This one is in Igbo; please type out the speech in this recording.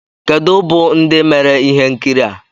kedu bụ ndị mere ihe nkiri a?